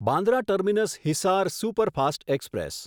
Bandra terminus Hisar superfast express